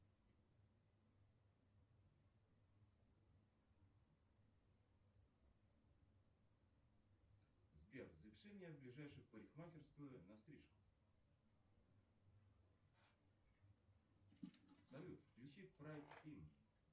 сбер запиши меня в ближайшую парикмахерскую на стрижку салют включи прайд фильм